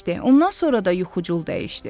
Ondan sonra da yuxucul dəyişdi.